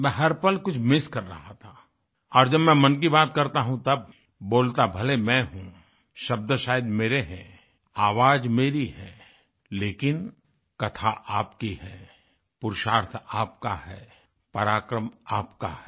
मैं हर पल कुछ मिस कर रहा था और जब मैं मन की बात करता हूँ तब बोलता भले मैं हूँ शब्द शायद मेरे हैं आवाज़ मेरी है लेकिन कथा आपकी है पुरुषार्थ आपका है पराक्रम आपका है